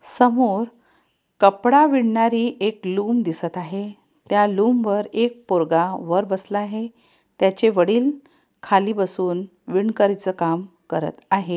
समोर कपड़ा विणणारी एक लूम दिसत आहे त्या लूम वर एक पोरगा वर बसला आहे त्याचे वडील खाली बसून विनकरीच काम करीत आहेत.